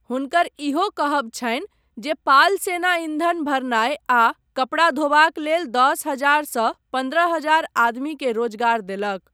हुनकर ईहो कहब छनि जे पाल सेना ईंधन भरनाय आ कपड़ा धोबाक लेल दश हजार सँ पन्द्रह हजार आदमीकेँ रोजगार देलक।